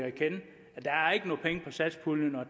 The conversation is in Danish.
satspuljen at